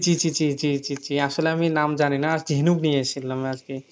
জি জি জি জি জি জি জি আসলে আমি নাম জানিনা আর কি হিনুক নিয়ে আসছিলাম আর কি